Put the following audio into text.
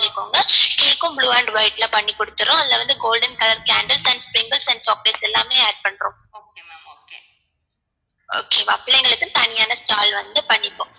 சொல்லிகோங்க cake உம் blue and white ல பண்ணி குடுதுர்வோம் அதுல வந்து golden colour candles and chocolates எல்லாமே add பண்றோம் okay ஆ பிள்ளைங்களுக்கு தனியான stall வந்து பண்ணிப்போம்